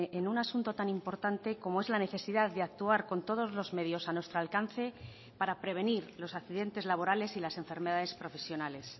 en un asunto tan importante como es la necesidad de actuar con todos los medios a nuestro alcance para prevenir los accidentes laborales y las enfermedades profesionales